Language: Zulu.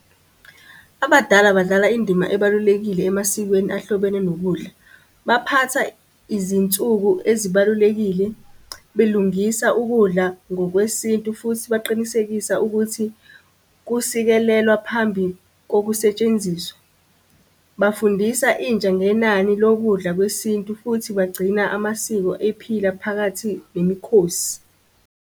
Abadala badlala indima ebalulekile emasikweni ahlobene nokudla. Baphatha izinsuku ezibalulekile, belungisa ukudla ngokwesintu futhi baqinisekisa ukuthi kusilekelela phambi kokusetshenziswa. Bafundisa intsha ngenani lokudla kwesintu futhi bagcina amasiko ephila phakathi nemikhosi.